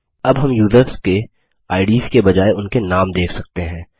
अब हम यूज़र्स के आईडीएस के बजाय उनके नाम देख सकते हैं